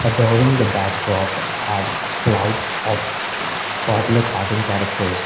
adoring the backdrop are clouds of cartoon characters.